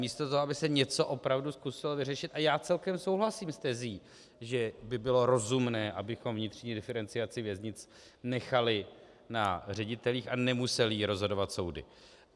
Místo toho, aby se něco opravdu zkusilo vyřešit - a já celkem souhlasím s tezí, že by bylo rozumné, abychom vnitřní diferenciaci věznic nechali na ředitelích a nemusely ji rozhodovat soudy.